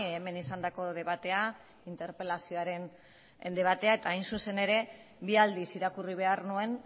hemen izandako debatea interpelazioaren debatea eta hain zuzen ere bi aldiz irakurri behar nuen